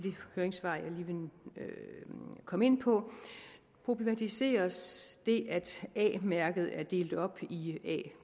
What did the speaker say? høringssvar jeg lige vil komme ind på problematiseres det at a mærket er delt op i a